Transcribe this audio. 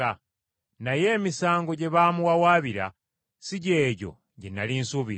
Naye emisango gye baamuwawaabira si gye gyo gye nnali nsuubira.